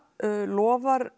lofar